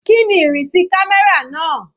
Kíni ìrìnsí camera náà?